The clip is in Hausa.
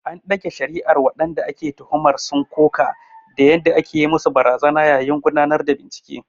An ɗage shari’ar, waɗanda ake tuhumar sun koka da yadda ake yi musu barazana a yayin gudanar da bincike.